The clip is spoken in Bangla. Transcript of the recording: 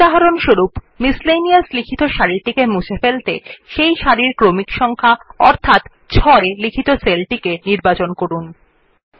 উদাহরণস্বরূপ যে সারিতে লন্ড্রি লেখা আছে সেটিকে মুছে ফেলতে প্রথমে সেই সেল টি নির্বাচন করুন যাতে সেটির ক্রমিক সংক্যা অর্থাৎ ৬ আছে